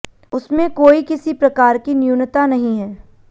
उसमें कोई किसी प्रकार की न्यूनता नहीं है